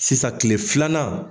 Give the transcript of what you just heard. Sisan kile filanan.